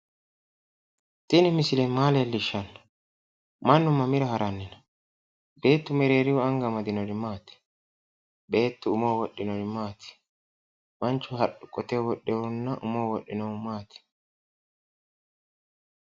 Tini misile maa leellishanno? mannu mamira haranni no? Beettu mereerihu anga amadinori maati? Beettu umoho wodhinori maati? Manchu qoteho wodhehunna umoho wodhehu maati?